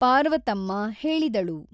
ಪಾರ್ವತಮ್ಮ ಹೇಳಿದಳು.